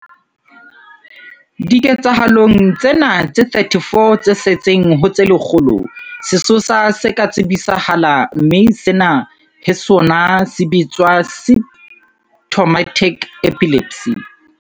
Diketsahalong tsena tse 34 tse setseng ho tse lekgolo, sesosa se ka tsebisahala mme sena he sona se bitswa symptomatic epilepsy.